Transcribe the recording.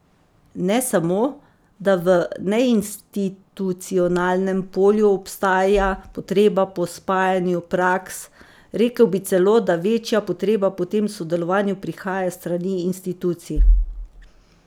Ne samo, da v neinstitucionalnem polju obstaja potreba po spajanju praks, rekel bi celo, da večja potreba po tem sodelovanju prihaja s strani institucij.